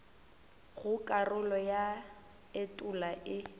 go karolo ya etulo e